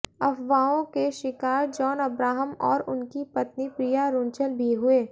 अफवाहों के शिकार जॉन अब्राहम और उनकी पत्नी प्रिया रुंचल भी हुए